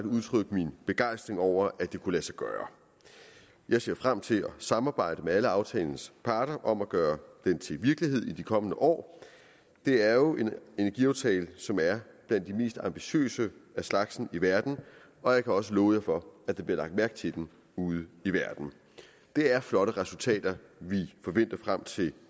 udtrykke min begejstring over at det kunne lade sig gøre jeg ser frem til at samarbejde med alle aftalens parter om at gøre den til virkelighed i de kommende år det er jo en energiaftale som er blandt de mest ambitiøse af slagsen i verden og jeg kan også love for at der bliver lagt mærke til den ude i verden det er flotte resultater vi forventer frem til